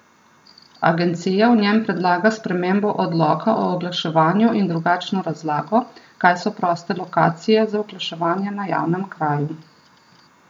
Agencija v njem predlaga spremembo odloka o oglaševanju in drugačno razlago, kaj so proste lokacije za oglaševanje na javnem kraju.